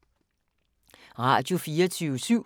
Radio24syv